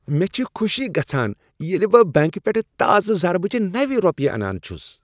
مےٚ چھ خوشی گژھان ییٚلہ بہٕ بنٛکہٕ پیٹھٕ تازٕ ضربہ چہ نوِ رۄپیہ انان چھس۔